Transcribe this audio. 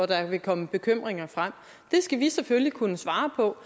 der vil komme bekymringer frem det skal vi selvfølgelig kunne svare på